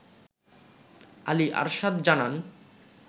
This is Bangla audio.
আলী আরশাদ জানান